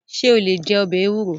Ṣé o lè jẹ ọbẹ̀ ewúro?